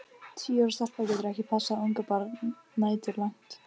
Tíu ára stelpa getur ekki passað ungbarn næturlangt.